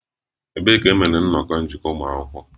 Ebee ka e mere nnọkọ njikọ ụmụ akwụkwọ?